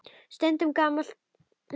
Stundum gamall hundur.